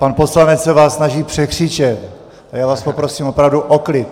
Pan poslanec se vás snaží překřičet a já vás poprosím opravdu o klid!